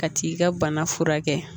Ka t'i ka bana furakɛ